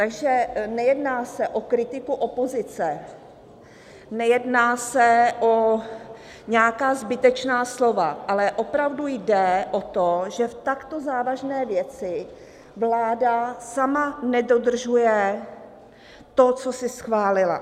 Takže nejedná se o kritiku opozice, nejedná se o nějaká zbytečná slova, ale opravdu jde o to, že v takto závažné věci vláda sama nedodržuje to, co si schválila.